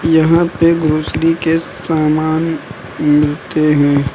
यहां पे ग्रोसरी के सामान मिलते हैं।